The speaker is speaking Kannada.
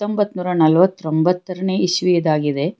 ಒಂಬತ್ನೂರ ನಲ್ವತ್ತ ತ್ರೊಂಬತನೆ ಇಸವಿ ಇದಾಗಿದೆ.